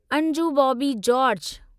Anju Bobby George